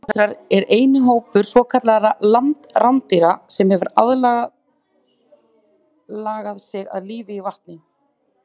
Otrar eru eini hópur svokallaðra landrándýra sem hefur algerlega lagað sig að lífi í vatni.